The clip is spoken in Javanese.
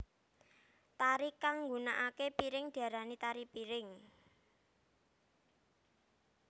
Tari kang nggunakaké piring diarani tari piring